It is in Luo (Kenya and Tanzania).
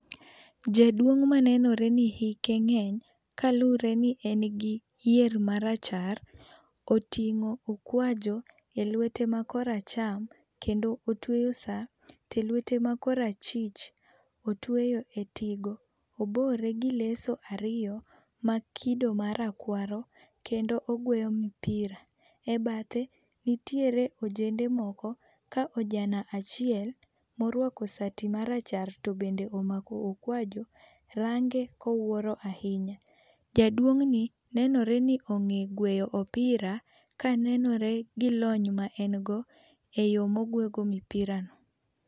Jaduong' manenore ni hike ng'eny kalure ni en gi yier marachar, oting'o okwajo e lwete ma kor acham kendo otweyo sa. To e lwete ma kor achich, otweyo e tigo. Obore gi leso ariyo ma kido ma rakwaro kendo ogweyo mipira. E bathe nitiere ojende moko ka ojana achiel morwako sati marachar to bende omako okwajo range kowuoro ahinya. Jaduong'ni nenore ni ong'e gweyo opira ka nenore gi lony ma en go e yo mogwe go mipira no.